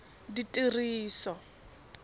ditiriso